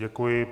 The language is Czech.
Děkuji.